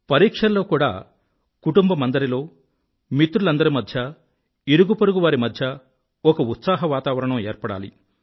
పరీక్షల్లో కూడా కుటుంబమందరిలో మిత్రులందరి మధ్యా ఇరుగుపొరుగు వారి మధ్యా ఒక ఉత్సాహవాతావరణం ఏర్పడాలి